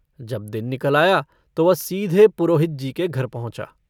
जब दिन निकल आया तो वह सीधे पुरोहित जी के घर पहुँचा।